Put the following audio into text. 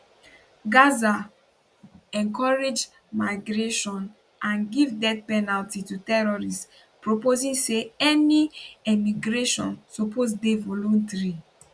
[gaza] encourage migration and give death penalty to terrorists proposing say any emigration suppose dey voluntary